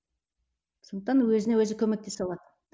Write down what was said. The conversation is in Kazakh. сондықтан өзіне өзі көмектесе алады